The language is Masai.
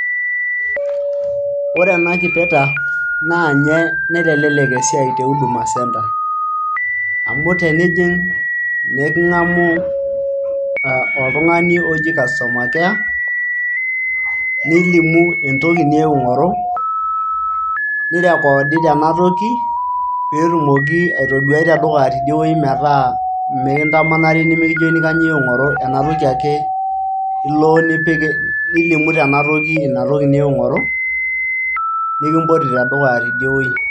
Ore ena kipeta, na nye naitelelek esiai te Huduma centre. Amu tenijing',na eking'amu oltung'ani oji customer care ,nilimu entoki niewuo aing'oru, nirekoodi tena toki, petumoki aitoduai tedukuya tidie metaa mikintamanari nimikijokini kanyioo iewuo aing'oru. Ena toki ake ilo nipik, nilimu tena toki ina toki niewuo aing'oru, nikimpoti tedukuya tidie oi.